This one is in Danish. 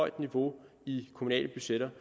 et niveau i de kommunale budgetter